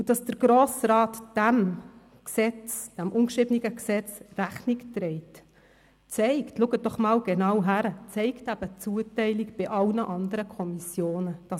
Dass der Grosse Rat diesem ungeschriebenen Gesetz Rechnung trägt und man es so handhabt, zeigt die Zuteilung bei allen anderen Kommissionen.